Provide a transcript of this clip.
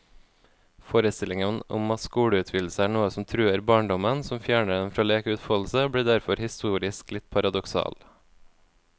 Forestillingen om at skoleutvidelser er noe som truer barndommen, som fjerner den fra lek og utfoldelse, blir derfor historisk litt paradoksal.